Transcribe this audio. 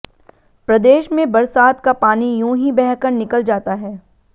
प्रदेश में बरसात का पानी यूं ही बहकर निकल जाता है